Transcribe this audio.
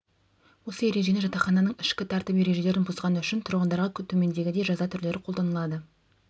осы ережені жатақхананың ішкі тәртіп ережелерін бұзғаны үшін тұрғындарға төмедегідей жаза түрлері қолданылады